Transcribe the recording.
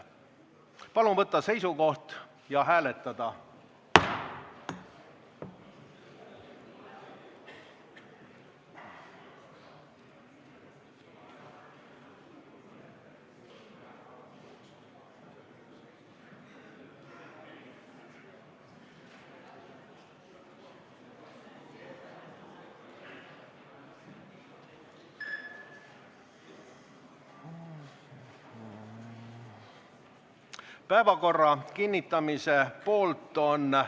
Palun võtta seisukoht ja hääletada!